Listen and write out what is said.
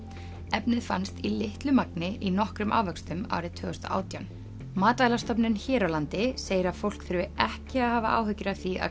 efnið fannst í litlu magni í nokkrum ávöxtum árið tvö þúsund og átján matvælastofnun hér á landi segir að fólk þurfi ekki að hafa áhyggjur af því að